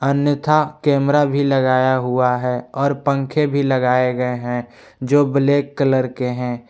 अन्यथा कैमरा भी लगाया हुआ है और पंखे भी लगाए गए हैं जो ब्लैक कलर के हैं।